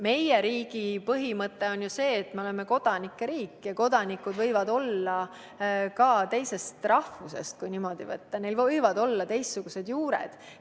Meie riigi põhimõte on ju see, et me oleme kodanike riik, ja kodanikud võivad olla ka teisest rahvusest, neil võivad olla teistsugused juured.